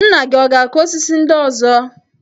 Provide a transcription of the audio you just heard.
Nna gi ọ̀ ga-akụ osisi ndị ọzọ?